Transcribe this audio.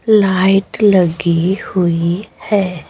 Light लगी हुई है।